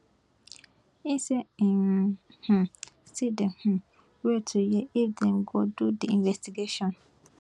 e say im um still dey um wait to hear if dem go do di investigation